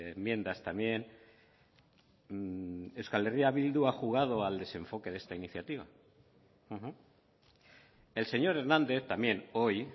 enmiendas también euskal herria bildu ha jugado al desenfoque de esta iniciativa el señor hernández también hoy